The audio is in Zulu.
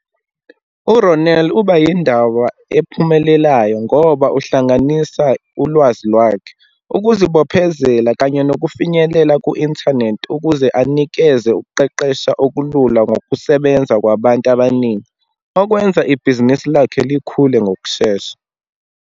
URonel uba yindaba ephumelelayo ngoba uhlanganisa ulwazi lwakhe, ukuzibophezela kanye nokufinyelela ku-inthanethi, ukuze anikeze ukuqeqesha okulula ngokusebenza kwabantu abaningi. Okwenza ibhizinisi lakhe likhule ngokushesha.